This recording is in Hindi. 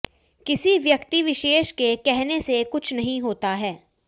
किसी व्यक्ति विशेष के कहने से कुछ नहीं होता है